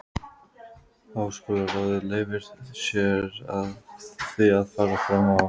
Háskólaráðið leyfir sér því að fara fram á